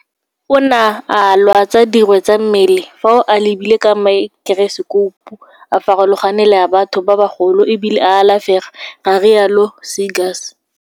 Ona a lwatsa dirwe tsa mmele, fa o a lebile ka maekerosekoupu a farologane le a batho ba bagolo e bile a alafega, ga rialo Seegers.